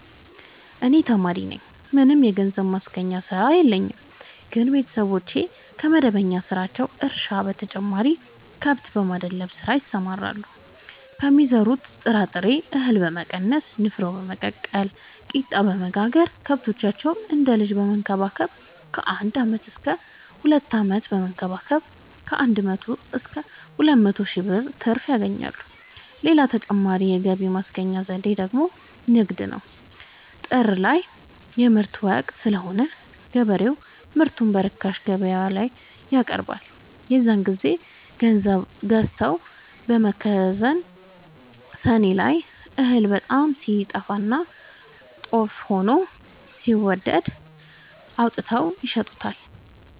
እኔ ተማሪነኝ ምንም የገንዘብ ማስገኛ ስራ የለኝም ግን ቤተሰቦቼ ከመደበኛ ስራቸው እርሻ በተጨማሪ ከብት የማድለብ ስራ ይሰራሉ ከሚዘሩት ጥራጥሬ እሀል በመቀነስ ንፋኖ በመቀቀል ቂጣበወጋገር ከብቶቻቸውን እንደ ልጅ በመከባከብ ከአንድ አመት እስከ ሁለት አመት በመንከባከብ ከአንድ መቶ እስከ ሁለት መቶ ሺ ብር ትርፍ ያገኛሉ። ሌላ ተጨማሪ የገቢ ማስገኛ ዘዴ ደግሞ ንግድ ነው። ጥር ላይ የምርት ወቅት ስለሆነ ገበሬው ምርቱን በርካሽ ገበያላይ ያቀርባል። የዛን ግዜ ገዝተው በመከዘን ሰኔ ላይ እህል በጣም ሲጠፋና ጦፍ ሆኖ ሲወደድ አውጥተው ይሸጡታል።